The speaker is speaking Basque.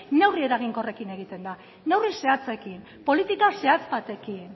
neurri eraginkorrekin egiten da neurri zehatzekin politika zehatz batekin